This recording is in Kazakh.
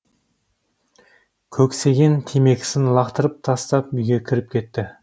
көксеген темекісін лақтырып тастап үйге кіріп кетті